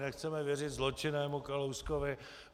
Nechceme věřit zločinnému Kalouskovi.